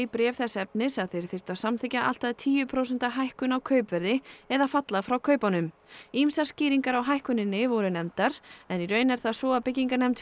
bréf þess efnis að þeir þyrftu að samþykkja allt að tíu prósenta hækkun á kaupverði eða falla frá kaupunum ýmsar skýringar á hækkuninni voru nefndar en í raun er það svo að byggingarnefnd